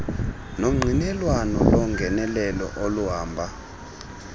nongqinelwano longenelelo oluhamba